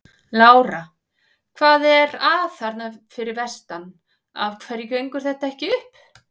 Lára: Hvað er að þarna fyrir vestan, af hverju gengur þetta ekki upp?